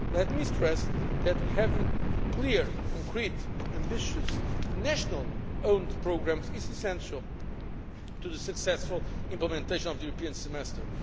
Let me stress that having clear, concrete, ambitious, nationally owned programmes is essential to the successful implementation of the European Semester.